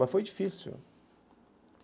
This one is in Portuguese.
Mas foi difícil.